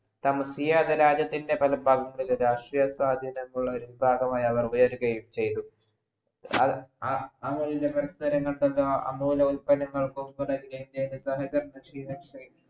രാജ്യത്തിൻ്റെ പല ഭഗത് പാൽ രാഷ്ട്രീയ സാധ്യതകളുള്ള ഇരു വിഭാഗമായി അവർ ഉയരുകയും ചയ്ത ആ മൂല്യങ്ങൾ പരസ്പര അമൂല്യ ഉത്പന്നങ്ങൾക്കും തുടങ്ങ